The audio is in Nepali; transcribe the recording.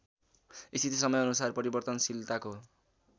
स्थिति समयानुसार परिवर्तनशीलताको